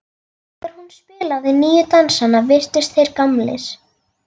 Þegar hún spilaði nýju dansana virtust þeir gamlir.